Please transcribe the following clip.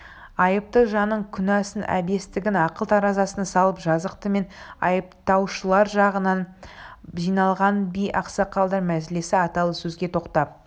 айыпты жанның күнәсін әбестігін ақыл таразысына салып жазықты мен айыптаушылар жағынан жиналған би ақсақалдар мәжілісі аталы сөзге тоқтап